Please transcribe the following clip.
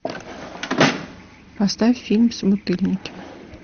поставь фильм собутыльники